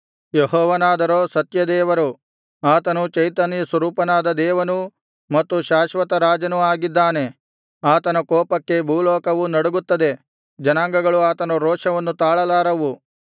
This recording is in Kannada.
ಯೆಹೋವನಾದರೋ ಸತ್ಯದೇವರು ಆತನು ಚೈತನ್ಯಸ್ವರೂಪನಾದ ದೇವನೂ ಮತ್ತು ಶಾಶ್ವತ ರಾಜನೂ ಆಗಿದ್ದಾನೆ ಆತನ ಕೋಪಕ್ಕೆ ಭೂಲೋಕವು ನಡುಗುತ್ತದೆ ಜನಾಂಗಗಳು ಆತನ ರೋಷವನ್ನು ತಾಳಲಾರವು